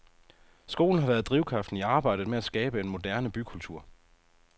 Skolen har været drivkraften i arbejdet med at skabe en moderne bykultur.